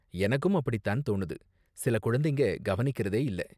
எனக்கும் அப்படி தான் தோணுது, சில குழந்தைங்க கவனிக்கறதே இல்ல.